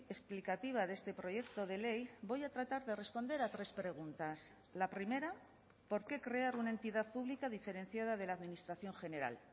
explicativa de este proyecto de ley voy a tratar de responder a tres preguntas la primera por qué crear una entidad pública diferenciada de la administración general